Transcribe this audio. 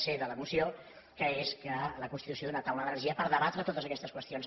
c de la moció que és la constitució d’una taula d’energia per debatre totes aquestes qüestions